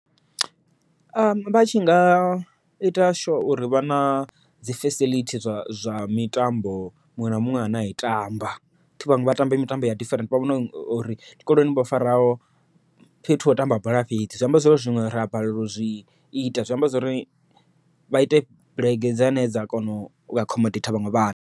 Vha tshinga ita sure uri vhana dzi fasiḽithi zwa mitambo muṅwe na muṅwe ane a i tamba. Thi vhaṅwe vha tamba mitambo ya different, vha vhone uri zwikoloni vho faraho fhethu ha u tamba bola fhedzi, zwi amba zwori zwiṅwe ra balela u zwi ita zwi amba zwori vha ite bulege dzane dza kona u accommodate vhaṅwe vhathu.